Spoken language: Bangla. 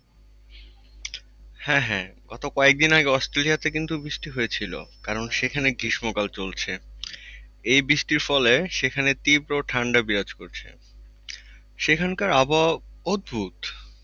হ্যাঁ হ্যাঁ গত কয়েকদিন আগে Australia তে কিন্তু বৃষ্টি হয়েছিল কারণ সেখানে গৃষ্ম কাল চলছে। এই বৃষ্টির ফলে সেখানে তীব্র ঠান্ডা বিরাজ করছে। সেখানকার আবহাওয়া অদ্ভুত।